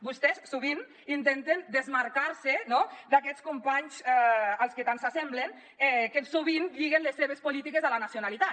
vostès sovint intenten desmarcar se no d’aquests companys als que tant s’assemblen que sovint lliguen les seves polítiques a la nacionalitat